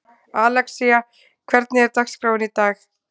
Alexía, hvernig er dagskráin í dag?